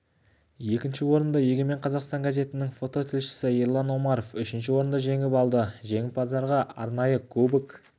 екінші орынды егемен қазақстан газетінің фототілшісі ерлан омаров үшінші орынды жеңіп алды жеңімпаздарға арнайы кубок